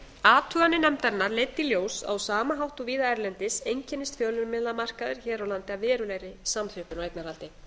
athuganir nefndarinnar leiddu í ljós að á sama hátt og víða erlendis einkennist fjölmiðlamarkaður hér á landi af verulegri samþjöppun á eignarhaldi